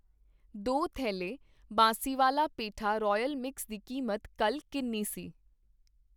ਦੋ ਥੈਲੈ ਬਾਂਸੀਵਾਲਾ ਪੇਠਾ ਰਾਇਲ ਮਿਕਸ ਦੀ ਕੀਮਤ ਕੱਲ ਕਿੰਨੀ ਸੀ ?